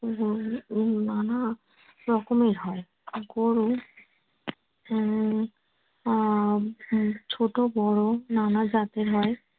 নানা রকমের হয় আর গরু উম আহ ছোট বড় নানা জাতের হয়।